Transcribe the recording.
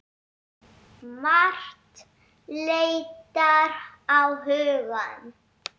Margt leitar á hugann.